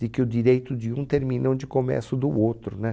De que o direito de um termina onde começo o do outro, né?